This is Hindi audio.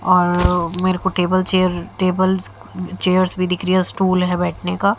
मेरे को टेबल चेयर टेबल्स चेयर्स भी दिख रहा हैं स्टूल है बैठने का।